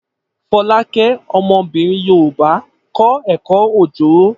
Folake, ọmọbìnrin Yorùbá, kọ́ ẹ̀kọ́ Ojoro.